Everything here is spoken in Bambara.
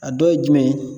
A dɔ ye jumɛn